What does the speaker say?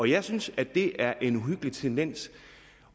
jeg synes at det er en uhyggelig tendens